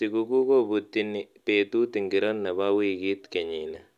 Sikukuu kobutini betut ingiro nebo wikit kenyini